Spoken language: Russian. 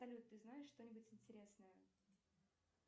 салют ты знаешь что нибудь интересное